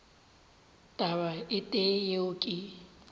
taba e tee yeo ke